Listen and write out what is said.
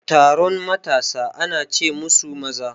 Taron matasa ana ce musu maza